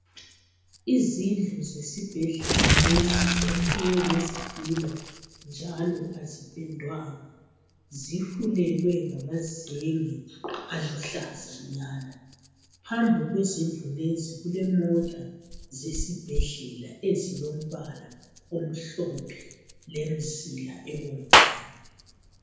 Izindlu zesibhedlela lesi zakhiwe ngezitina njalo azipendwanga, zifulelwe angamazenge aluhlazanyana. Phambi kwezindlu lezi kulemota zesibhedlela ezilombala omhlophe lemzila ebomvana.